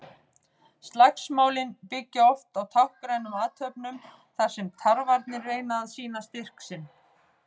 Slagsmálin byggja oft á táknrænum athöfnum þar sem tarfarnir reyna að sýna styrk sinn.